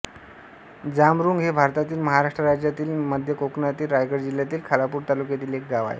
जांबरुंग हे भारतातील महाराष्ट्र राज्यातील मध्य कोकणातील रायगड जिल्ह्यातील खालापूर तालुक्यातील एक गाव आहे